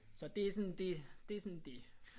Så det er sådan det det er sådan det